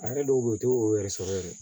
A yɛrɛ dɔw bɛ yen u tɛ o yɛrɛ sɔrɔ yɛrɛ